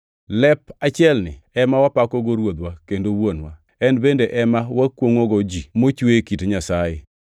Lep achielni ema wapakogo Ruodhwa kendo Wuonwa, en bende ema wakwongʼogo ji mochwe e kit Nyasaye.